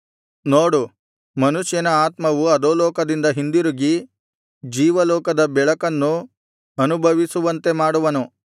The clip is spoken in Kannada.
ನೋಡು ಮನುಷ್ಯನ ಆತ್ಮವು ಅಧೋಲೋಕದಿಂದ ಹಿಂದಿರುಗಿ ಜೀವಲೋಕದ ಬೆಳಕನ್ನು ಅನುಭವಿಸುವಂತೆ ಮಾಡುವನು